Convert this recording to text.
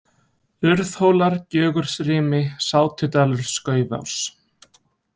Urðhólar, Gjögursrimi, Sátudalur, Skaufás